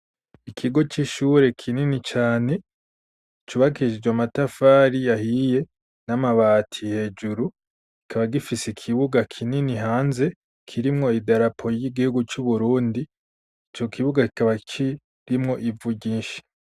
Ikigo c'ishure kinini cane icubakishe amatafari yahiye n'amabati hejuru ikaba gifise ikibuga kinini hanze kirimwo idarapo y'igihugu cu Burundi ico kibuga kikaba kirimwo ivu ryinshi.